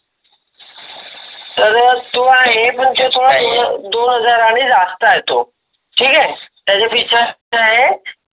तर तो आहे पण तो दोन हजारांनी जास्त आहे तो ठीक आहे त्याचा पेक्षा.